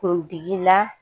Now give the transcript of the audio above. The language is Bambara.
Kuntigila